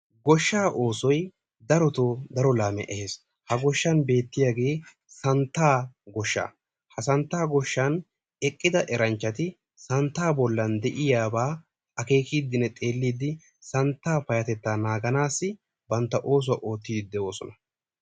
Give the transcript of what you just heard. Goshshaa oosoyi darotoo daro laamiya ehes. Ha goshshan beettiyage santtaa goshshaa. Ha santtaa goshshan eqqida eranchchati santtaa bollan de"iyabaa akeekiidinne xeelliiddi santtaa payyatettaa naaganaassi bantta oosuwa oottiiddi de"oosona.